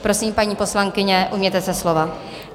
Prosím, paní poslankyně, ujměte se slova.